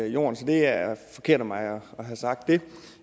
jorden så det er forkert af mig at have sagt det